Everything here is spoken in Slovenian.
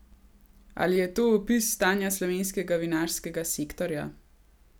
Ali je to opis stanja slovenskega vinarskega sektorja?